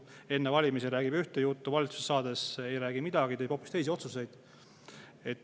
Enne valimisi räägib ühte juttu ning valitsusse saades ei räägi midagi ja teeb hoopis teisi otsuseid.